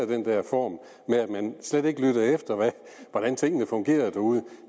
den der form med at man slet ikke lyttede efter hvordan tingene fungerede derude